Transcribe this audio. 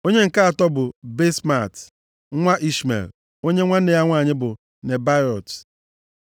Onye nke atọ bụ Basemat, nwa Ishmel, onye nwanne ya nwanyị bụ Nebaiot.